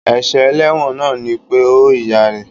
Èsè eléwòn náà ni pe ó ìyá rè